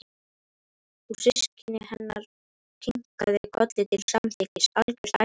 Og systir hennar kinkaði kolli til samþykkis: Algjört æði.